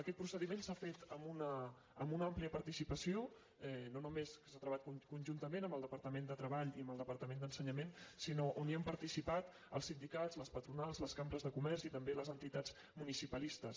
aquest procediment s’ha fet amb una àmplia participació no només s’ha travat conjuntament amb el departament de treball i amb el departament d’ensenyament sinó on hi han participat els sindicats les patronals les cambres de comerç i també les entitats municipalistes